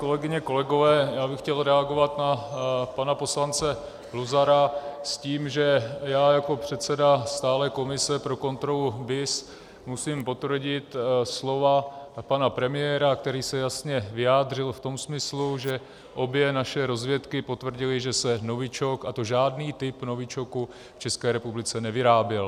Kolegyně, kolegové, já bych chtěl reagovat na pana poslance Luzara s tím, že já jako předseda stálé komise pro kontrolu BIS musím potvrdit slova pana premiéra, který se jasně vyjádřil v tom smyslu, že obě naše rozvědky potvrdily, že se novičok, a to žádný typ novičoku, v České republice nevyráběl.